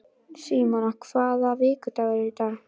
Símona, hvaða vikudagur er í dag?